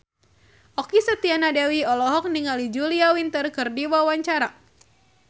Okky Setiana Dewi olohok ningali Julia Winter keur diwawancara